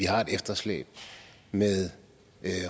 har et efterslæb med